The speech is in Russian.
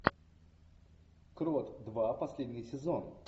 крот два последний сезон